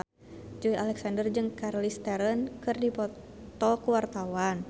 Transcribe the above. Joey Alexander jeung Charlize Theron keur dipoto ku wartawan